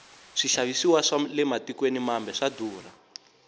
swixavisiwa swale matikweni mambe swa durha